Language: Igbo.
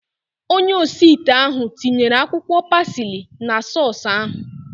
Onye osi ite ahu tinyere akwụkwọ pasili na sọọsu ahu